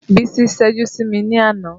Bísí ṣẹ́jú sí mi ní àná